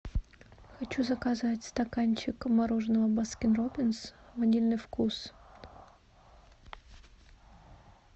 хочу заказать стаканчик мороженого баскин роббинс ванильный вкус